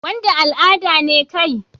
Wanda al'ada ne kai?